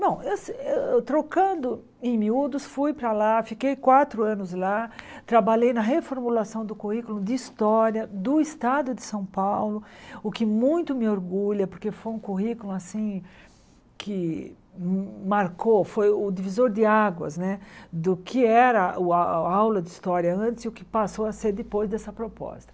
Bom, eu eh trocando em miúdos, fui para lá, fiquei quatro anos lá, trabalhei na reformulação do currículo de História do Estado de São Paulo, o que muito me orgulha, porque foi um currículo assim que marcou, foi o divisor de águas né do que era o a a aula de História antes e o que passou a ser depois dessa proposta.